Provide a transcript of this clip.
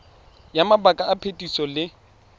ya mabaka a phetiso le